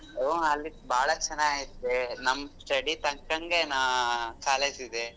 ಹೊ ಅಲ್ಲಿ ಬಾಳಾ ಚೆನ್ನಾಗೈತೆ ನಮ್ಮ್ study ತಕ್ಕಂಗೆ ನಾ college ಇದೆ.